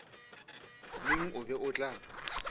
neng o be o tla